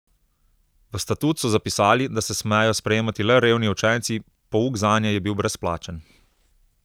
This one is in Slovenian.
V statut so zapisali, da se smejo sprejemati le revni učenci, pouk zanje je bil brezplačen.